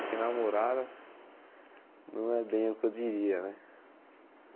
Porque namorada não é bem o que eu diria, né?